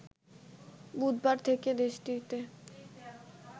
বুধবার থেকে দেশটিতে